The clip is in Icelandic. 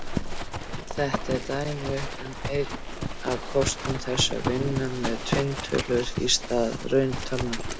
Þetta er dæmi um einn af kostum þess að vinna með tvinntölur í stað rauntalna.